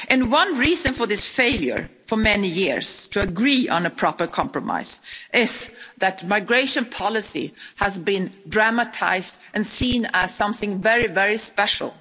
One reason for this failure, for many years, to agree on a proper compromise is that migration policy has been dramatised and seen as something very special.